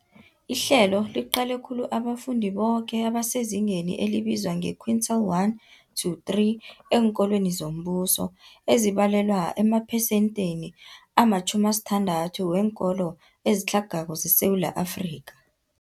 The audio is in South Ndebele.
Ihlelo liqale khulu abafundi boke abasezingeni elibizwa nge-quintile 1-3 eenkolweni zombuso, ezibalelwa emaphesentheni ama-60 weenkolo ezitlhagako zeSewula Afrika.